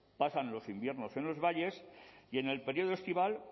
pasan los inviernos en los valles y en el periodo estival